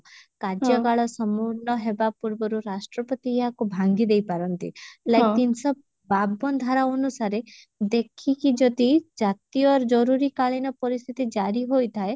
କାର୍ଯ୍ୟକାଳ ସମ୍ପୂର୍ଣ ହେବା ପୂର୍ବରୁ ରାଷ୍ଟ୍ରପତି ଏହାକୁ ଭାଙ୍ଗିଦେଇପାରନ୍ତି like ତିନିଶହ ବାବନ ଧାରା ଅନୁସାରେ ଦେଖିକି ଯଦି ଜାତୀୟ ଜରୁରୀ କାଳୀନ ପରିସ୍ଥିତି ଜାରି ହୋଇଥାଏ